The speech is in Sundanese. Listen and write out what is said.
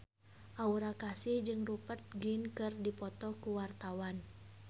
Aura Kasih jeung Rupert Grin keur dipoto ku wartawan